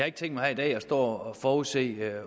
ikke tænkt mig her i dag at stå og forudse